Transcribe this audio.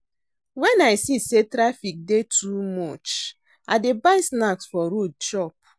Wen I see sey traffic dey too much, I dey buy snacks for road chop.